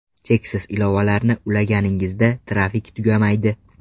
Cheksiz ilovalarni ulaganingizda, trafik tugamaydi.